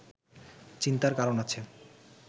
চিন্তার কারণ আছে